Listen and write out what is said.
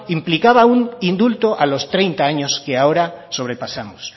implicaba un indulto a los treinta años que ahora sobrepasamos